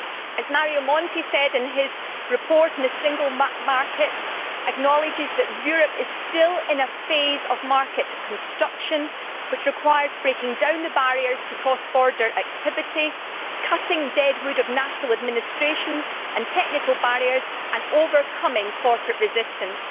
As Mario Monti in his report on the Single Market acknowledges, Europe is still in a phase of market construction' that requires breaking down barriers to cross border activity, cutting dead wood of national administrative and technical barriers and overcoming corporate resistance'.